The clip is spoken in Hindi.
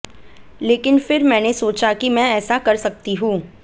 लेकिन फिर मैंने सोचा कि मैं ऐसा कर सकती हूं